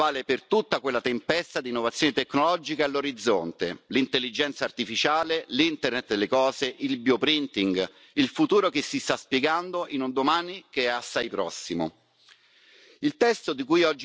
Vale per la blockchain oggi, ma vale per tutta quella tempesta di innovazioni tecnologiche all'orizzonte, l'intelligenza artificiale, l'internet delle cose, il bioprinting, il futuro che si sta spiegando in un domani che è assai prossimo.